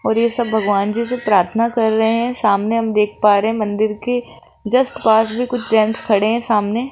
और ये सब भगवान जी से प्रार्थना कर रहे हैं सामने हम देख पा रहे हैं मंदिर के जस्ट पास भी कुछ जेंट्स खड़े हैं सामने --